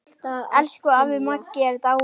Elsku afi Maggi er dáinn.